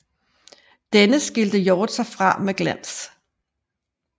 Denne skilte Hjort sig fra med glans